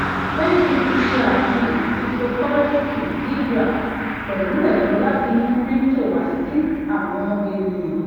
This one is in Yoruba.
facebook ṣe afihan cryptocurrency libra pẹlu ero lati mu crypto wa si awọn eniyan